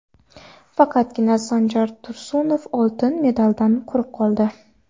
Faqatgina Sanjar Tursunov oltin medaldan quruq qoldi.